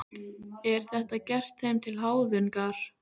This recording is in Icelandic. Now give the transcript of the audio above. Er þetta gert þeim til háðungar?